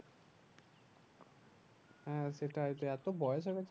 হ্যাঁ সেটাই তো এতো বয়স হয়ে গেছে